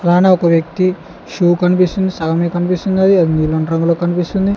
అలానే ఒక వ్యక్తి షూ కనిపిస్తుంది సగమే కనిపిస్తుంది అది నీలం రంగులో కనిపిస్తుంది.